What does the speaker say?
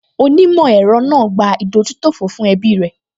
Onímọ̀ ẹ̀rọ náà gbà ìdójútòfò fún ẹbí rẹ̀